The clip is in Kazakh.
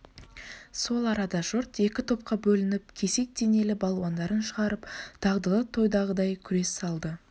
сол арада жұрт екі топқа бөлініп кесек денелі балуандарын шығарып дағдылы тойдағыдай күрес салды